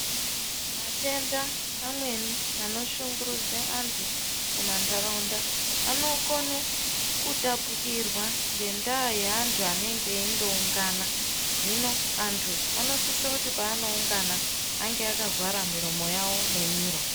Matenda amweni anoshungurudze antu mumandaraunda anokone kutapukirwa ngendaa yeantu anenge eindoungana hino antu anosise kuti paanoungana ange akavhara miromo yavo nemiro.